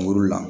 Muru la